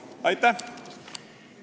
Aitäh!